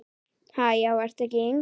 Ha, já ertu ekki yngri!